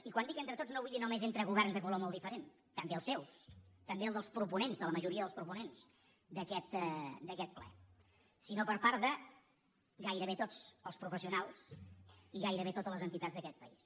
i quan dic entre tots no vull dir només entre governs de color molt diferent també els seus també el dels proponents de la majoria dels proponents d’aquest ple sinó per part de gairebé tots els professionals i gairebé totes les entitats d’aquest país